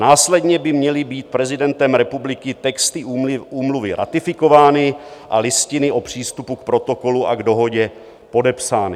Následně by měly být prezidentem republiky texty Úmluvy ratifikovány a listiny o přístupu k Protokolu a k Dohodě podepsány.